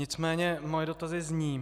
Nicméně moje dotazy zní: